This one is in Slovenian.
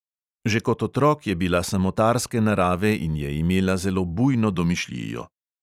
Že kot otrok je bila samotarske narave in je imela zelo bujno domišljijo.